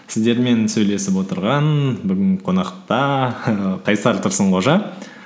сіздермен сөйлесіп отырған бүгін қонақта қайсар тұрсынқожа